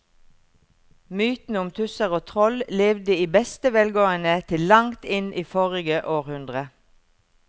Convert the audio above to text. Mytene om tusser og troll levde i beste velgående til langt inn i forrige århundre.